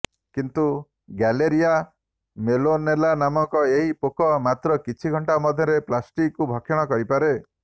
କିନ୍ତୁ Galleria mellonella ନାମକ ଏହି ପୋକ ମାତ୍ର କିଛି ଘଣ୍ଟା ମଧ୍ୟରେ ପ୍ଲାଷ୍ଟିକକୁ ଭକ୍ଷଣ କରିପାରେ